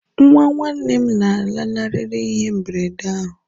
nwa nwanne m lanarịrị ihe mberede ahụ